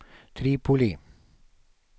Tripoli